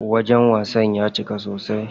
Wajen wasan ya cika sosai.